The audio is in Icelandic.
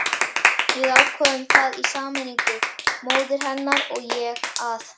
Við ákváðum það í sameiningu, móðir hennar og ég, að